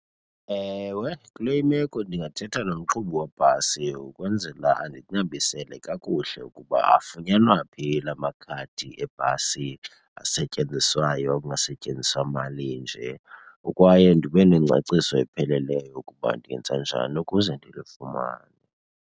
Ewe, kule imeko ndingathetha nomqhubi webhasi ukwenzela andinabisele kakuhle ukuba afunyanwa phi la makhadi ebhasi asetyenziswayo kungasetyenziswa mali nje kwaye ndibe nengcaciso epheleleyo ukuba ndingenza njani ukuze ndilufumane.